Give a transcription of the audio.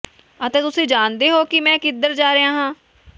ਅਤੇ ਤੁਸੀਂ ਜਾਣਦੇ ਹੋ ਕਿ ਮੈਂ ਕਿੱਧਰ ਜਾ ਰਿਹਾ ਹਾਂ